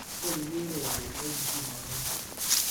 tieni kiurereni ko kikimong'u ou